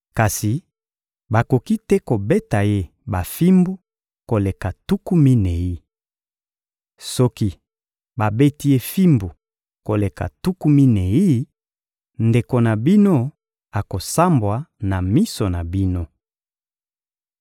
Kasi bakoki te kobeta ye bafimbu koleka tuku minei. Soki babeti ye fimbu koleka tuku minei, ndeko na bino akosambwa na miso na bino.